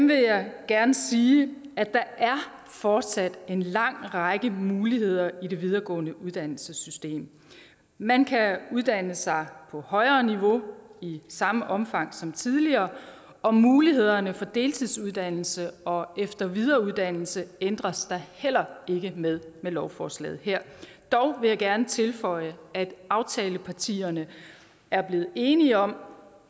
vil jeg gerne sige at der fortsat er en lang række muligheder i det videregående uddannelsessystem man kan uddanne sig på højere niveau i samme omfang som tidligere og mulighederne for deltidsuddannelse og efter og videreuddannelse ændres der heller ikke ved med lovforslaget her dog vil jeg gerne tilføje at aftalepartierne er blevet enige om